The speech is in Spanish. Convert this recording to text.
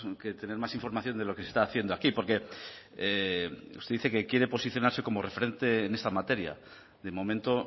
que tener más información de lo que se está haciendo aquí porque usted dice que quiere posicionarse como referente en esta materia de momento